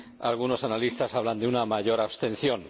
algunos analistas hablan de una mayor abstención.